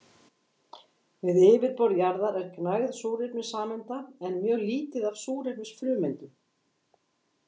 Við yfirborð jarðar er gnægð súrefnissameinda en mjög lítið af súrefnisfrumeindum.